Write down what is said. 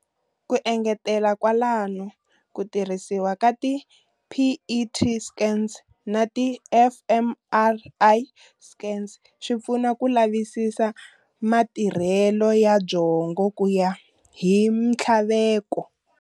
Ku engetela kwalano ku tirhisiwa ka ti PET scans na ti fMRI scans swipfuna ku lavisisa matirhele ya byongo kuya hi minthlaveko.